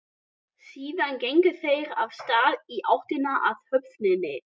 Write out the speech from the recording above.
Síðan gengu þeir af stað í áttina að höfninni.